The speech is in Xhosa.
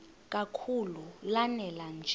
kakhulu lanela nje